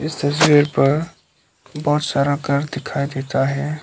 इस तस्वीर पर बहुत सारा घर दिखाई देता है।